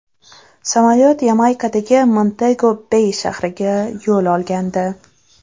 Samolyot Yamaykadagi Montego-Bey shahriga yo‘l olgandi.